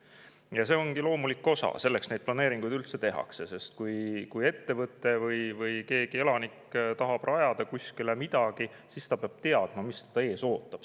Ja see ongi loomulik osa, selleks neid planeeringuid üldse tehakse, sest kui ettevõte või keegi elanik tahab rajada kuskile midagi, siis ta peab teadma, mis teda ees ootab.